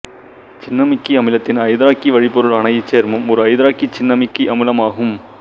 cinnamic அமிலத்தின் ஐதராக்சி வழிப்பொருளான இச்சேர்மம் ஒரு ஐதராக்சி சின்னமிக் அமிலமாகும்